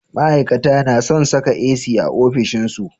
ma'ikata nason Saka AC a ofishin su